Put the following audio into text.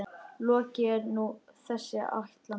Lokið er nú þessi ætlan.